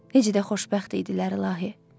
Necə də xoşbəxt idilər ilahi.